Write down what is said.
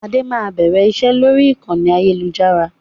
Adé máa bẹ̀rẹ̀ iṣẹ́ ni orí ìkànnì ayélujára